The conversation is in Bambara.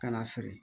Ka na feere